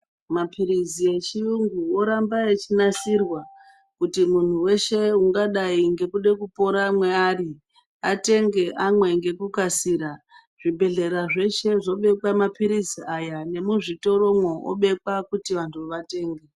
Mapirizi echiyungu oramba echinasirwa kuti munhu weshe ungadai ngekuda kupora maari atenge amwe ngekukasira zvibhedhlera zveshe zvobekwa mapirizi aya nemuzvitoro zvobekwa kuti vantu vatenge .